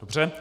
Dobře.